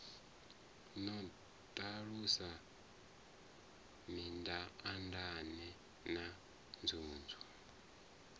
no ṱalusa mindaandaane na nzunzu